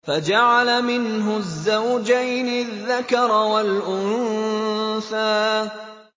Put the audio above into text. فَجَعَلَ مِنْهُ الزَّوْجَيْنِ الذَّكَرَ وَالْأُنثَىٰ